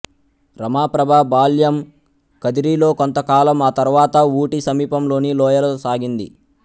రమాప్రభ బాల్యం కదిరిలో కొంతకాలం ఆ తర్వాత ఊటి సమీపంలోని లోయలో సాగింది